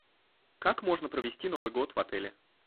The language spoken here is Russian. как можно провести новый год в отеле